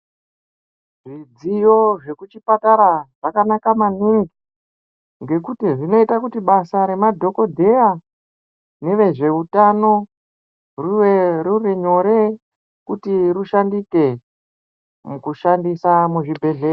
Zvidziyo zveku chipatara zvakanaka maningi ngekuti zvinoita kuti basa re madhokodheya neve zveutano rive riri nyore kuti rishandike muku shandisa mu zvibhedhleya.